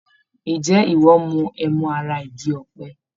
Ǹjẹ́ ìwọ ń mu ẹmu ará igi ọ̀pẹ?